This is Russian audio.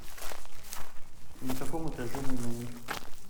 на каком этаже мой номер